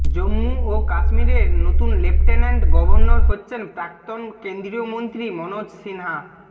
জম্মু ও কাশ্মীরের নতুন লেফটেন্যান্ট গভর্নর হচ্ছেন প্রাক্তন কেন্দ্রীয় মন্ত্রী মনোজ সিনহা